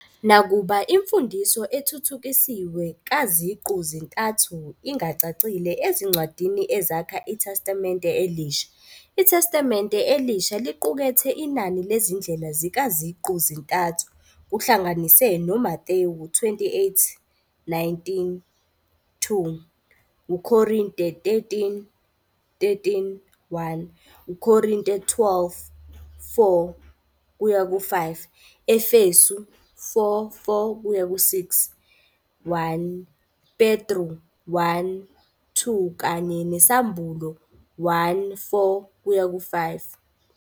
Nakuba imfundiso ethuthukisiwe kaZiqu-zintathu ingacacile ezincwadini ezakha iTestamente Elisha, iTestamente Elisha liqukethe inani lezindlela zikaZiqu-zintathu, kuhlanganise noMathewu 28-19, 2 Korinte 13-13, 1 Korinte 12-4-5, Efesu. 4-4-6, 1 Petru 1-2 kanye nesAmbulo 1-4-5.